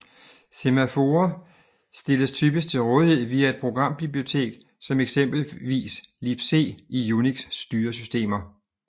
Semaforer stilles typisk til rådighed via et programbibliotek som eksempelvis libc i UNIX styresystemer